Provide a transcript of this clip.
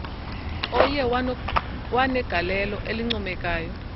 oye wanegaieio elincoomekayo